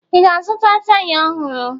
Ị ga-azụta taya ọhụrụ?